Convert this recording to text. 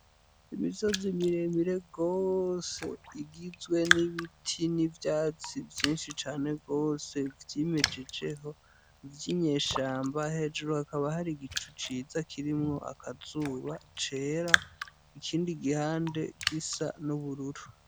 Umusozi muremure gose ugizwe n'ibiti n'ivyatsi vyinshi cane gose vyimejejeho vy'inyeshamba, hejuru hakaba hari igicu ciza kirimwo akazuba kera, ikindi gihande gisa n'ubururu.